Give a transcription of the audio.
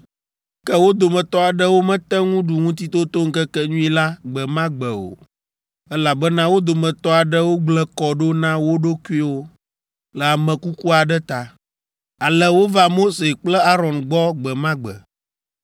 Ke wo dometɔ aɖewo mete ŋu ɖu Ŋutitotoŋkekenyui la gbe ma gbe o, elabena wo dometɔ aɖewo gblẽ kɔ ɖo na wo ɖokuiwo le ame kuku aɖe ta. Ale wova Mose kple Aron gbɔ gbe ma gbe,